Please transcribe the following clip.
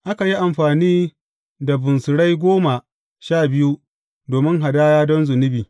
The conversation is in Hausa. Aka yi amfani da bunsurai goma sha biyu domin hadaya don zunubi.